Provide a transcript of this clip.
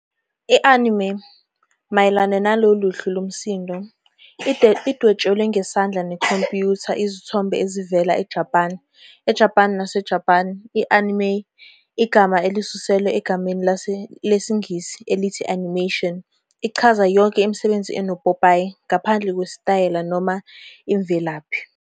I-Anime, Mayelana nalolu luhlu lomsindo, lidwetshwe ngesandla ne-computer izithombe ezivela eJapane. EJapan naseJapan, i-anime, igama elisuselwa egameni lesiNgisi elithi animation, ichaza yonke imisebenzi enopopayi, ngaphandle kwesitayela noma imvelaphi.